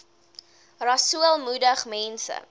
rasool moedig mense